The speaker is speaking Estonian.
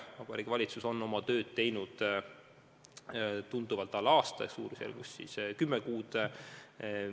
Vabariigi Valitsus on oma tööd teinud tunduvalt alla aasta, suurusjärgus kümme kuud.